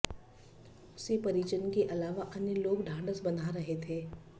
उसे परिजन के अलावा अन्य लोग ढांढस बंधा रहे थे